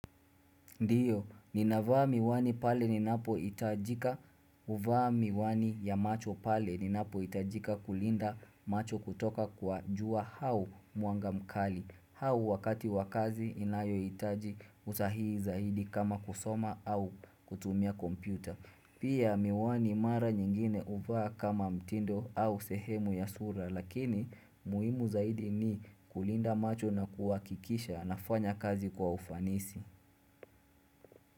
Ndiyo, ninavaa miwani pale ninapo itajika, uvaa miwani ya macho pale ninapo itajika kulinda macho kutoka kwa jua hau mwnga mkali. Hau wakati wakazi inayo itaji utahii zaidi kama kusoma au kutumia kompyuta. Pia miwani mara nyingine uvaa kama mtindo au sehemu ya sura lakini muimu zaidi ni kulinda macho na kuwakikisha nafanya kazi kwa ufanisi.